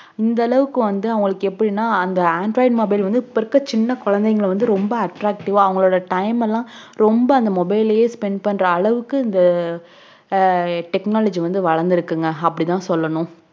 இந்த அளுவுக்கு வந்து அவங்களுக்கு எப்டினா android mobile வந்து இப்போஇருக்குற சின்ன கொழந்தைங்கவந்து ரொம்ப attractive ஆஅவங்க time லாம் ரொம்ப அந்த மொபைல்spend பண்ற அளவுக்கு அஹ் technology வந்து வலந்துருக்குனு அப்டினு சொல்லனும்